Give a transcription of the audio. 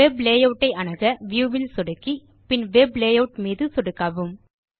web layout ஐ அணுக view ல் சொடுக்கி பின் வெப் லேயூட் மீது சொடுக்கவும்